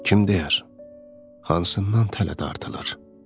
Kim deyər hansından tələ dartılır?